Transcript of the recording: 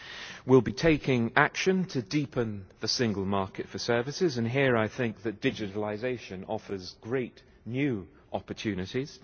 We will be taking action to deepen the single market for services, and here I think that digitalisation offers great new opportunities.